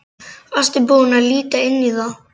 Varstu búinn að líta inn í það?